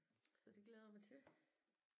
Så det glæder jeg mig til